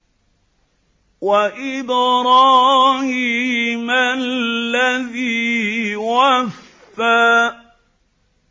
وَإِبْرَاهِيمَ الَّذِي وَفَّىٰ